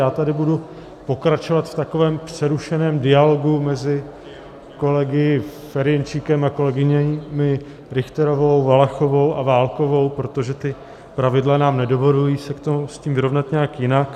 Já tady budu pokračovat v takovém přerušeném dialogu mezi kolegy Ferjenčíkem a kolegyněmi Richterovou, Valachovou a Válkovou, protože ta pravidla nám nedovolují se s tím vyrovnat nějak jinak.